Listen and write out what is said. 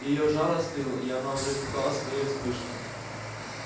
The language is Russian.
её жар остыл и она уже испугалась своей вспышки